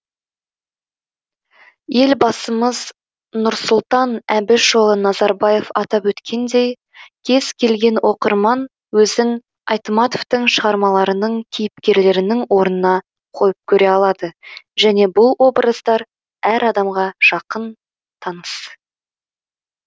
елбасымыз нұрсұлтан әбішұлы назарбаев атап өткендей кез келген оқырман өзін айтматовтың шығармаларының кейіпкерлерінің орнына қойып көре алады және бұл образдар әр адамға жақын таныс